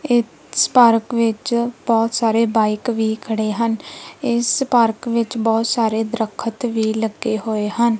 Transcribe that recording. ਇਸ ਪਾਰਕ ਵਿੱਚ ਬਹੁਤ ਸਾਰੇ ਬਾਈਕ ਵੀ ਖੜੇ ਹਨ ਇਸ ਪਾਰਕ ਵਿੱਚ ਬਹੁਤ ਸਾਰੇ ਦਰੱਖਤ ਵੀ ਲੱਗੇ ਹੋਏ ਹਨ।